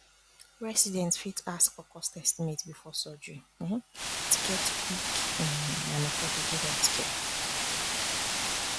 residents fit ask for cost estimate before surgery um to get quick um and affordable healthcare um